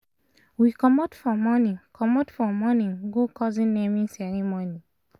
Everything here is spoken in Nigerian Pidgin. we commot for morning commot for morning go cousin naming ceremony